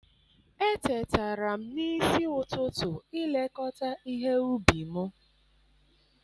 Etetara m n'isi ụtụtụ ilekọta ihe ubi m.